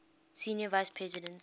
senior vice president